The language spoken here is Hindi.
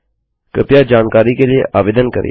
कृपया जानकारी के लिए आवेदन करिये